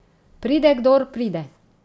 Pride, kdor pride.